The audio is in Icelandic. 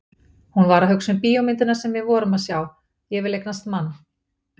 Hún var að hugsa um bíómyndina sem við vorum að sjá, Ég vil eignast mann!